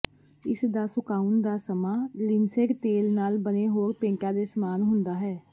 ਇਸਦਾ ਸੁਕਾਉਣ ਦਾ ਸਮਾਂ ਲਿਨਸੇਡ ਤੇਲ ਨਾਲ ਬਣੇ ਹੋਰ ਪੇਂਟਾਂ ਦੇ ਸਮਾਨ ਹੁੰਦਾ ਹੈ